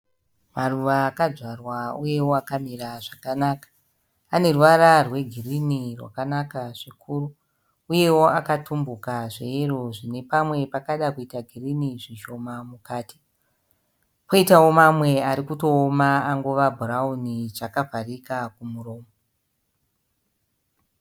Maruva akadzvarwa uyewo akamira zvakanaka. Ane ruvara rwegirini rwakanaka zvikuru, uyewo akatumbuka zveyero zvine pamwe pakada kuita girini zvishoma mukati. Poitawo mamwe arikutooma angova bhurauni akavharika kumuromo.